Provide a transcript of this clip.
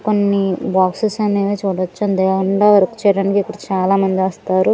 కొన్ని బాక్సెస్ అనేవి చూడొచ్చు దాన్లో వర్క్ చేయడానికి ఇప్పుడు చాలామంది వస్తారు.